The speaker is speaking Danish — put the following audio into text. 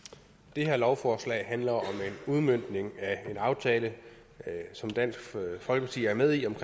det her lovforslag handler om en udmøntning af en aftale som dansk folkeparti er med i om